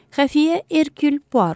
Xəfiyyə Erkul Puaro.